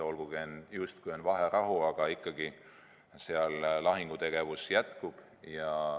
Olgugi et justkui on vaherahu, aga lahingutegevus ikkagi jätkub.